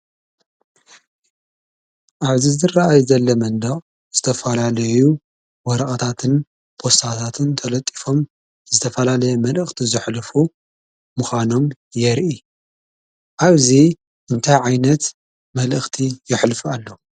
ኣብዚ ዝረኣይ ዘሎ መንደቅ ዝተፈላለዩ ወረቀታትን ፖስታታትን ተለጢፎም ዝተፈላለዩ መልእኽቲ ዘሕልፉ ምዃኖም የርኢ ።ኣብዚ እንታይ ዓይነት መልእኽቲ የሕልፉ ኣለው?